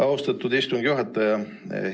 Austatud istungi juhataja!